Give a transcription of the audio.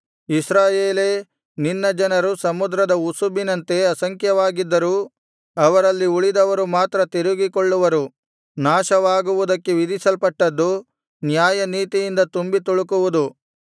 ಇಸ್ರಾಯೇಲೇ ನಿನ್ನ ಜನರು ಸಮುದ್ರದ ಉಸುಬಿನಂತೆ ಅಸಂಖ್ಯವಾಗಿದ್ದರೂ ಅವರಲ್ಲಿ ಉಳಿದವರು ಮಾತ್ರ ತಿರುಗಿಕೊಳ್ಳುವರು ನಾಶವಾಗುವುದಕ್ಕೆ ವಿಧಿಸಲ್ಪಟ್ಟದ್ದು ನ್ಯಾಯನೀತಿಯಿಂದ ತುಂಬಿ ತುಳುಕುವುದು